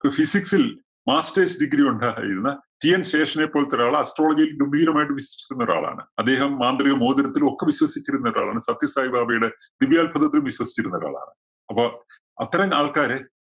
ഇപ്പോ physics ല്‍ Masters Degree ഉണ്ടായിരുന്ന TN ശേഷനെ പോലത്തെ ഒരാള് astrology യില്‍ ഗംഭീരമായിട്ട് വിശ്വസിക്കുന്ന ഒരാളാണ്. അദ്ദേഹം മാന്ത്രിക മോതിരത്തിലും ഒക്കെ വിശ്വസിച്ചിരുന്ന ഒരാളാണ്. സത്യസായിബാബയുടെ ദിവ്യാത്ഭുതത്തിലും വിശ്വസിച്ചിരുന്ന ഒരാളാണ്. അപ്പോ അത്തരം ആള്‍ക്കാരെ